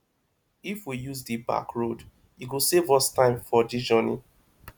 if we use di back road e go save us time for this journey